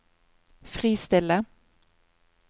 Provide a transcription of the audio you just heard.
fristille